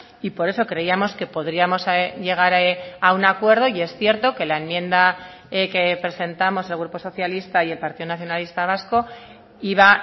y por eso creíamos que podríamos llegar a un acuerdo y es cierto que la enmienda que presentamos el grupo socialista y el partido nacionalista vasco iba